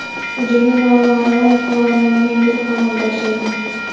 Hujumni noma’lum qurollangan guruh amalga oshirgan.